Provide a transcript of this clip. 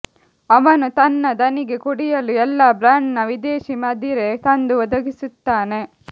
ಅವನು ತನ್ನ ಧಣಿಗೆ ಕುಡಿಯಲು ಎಲ್ಲ ಬ್ರಾಂಡ್ನ ವಿದೇಶೀ ಮದಿರೆ ತಂದು ಒದಗಿಸುತ್ತಾನೆ